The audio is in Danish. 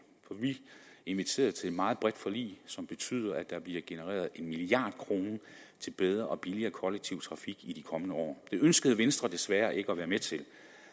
inviterede til et meget bredt forlig som betyder at der bliver genereret en milliard kroner til bedre og billigere kollektiv trafik i de kommende år det ønskede venstre desværre ikke at være med til